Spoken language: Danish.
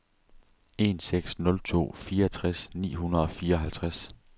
en seks nul to fireogtres ni hundrede og fireoghalvtreds